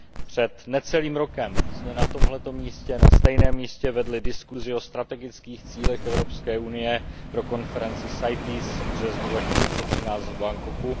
Před necelým rokem jsme na tomto místě, na stejném místě, vedli diskusi o strategických cílech Evropské unie pro konferenci CITES v březnu 2013 v Bangkoku.